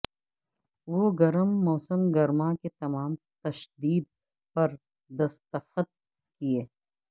وہ گرم موسم گرما کے تمام تشدد پر دستخط کیے